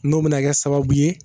N'o bɛna kɛ sababu ye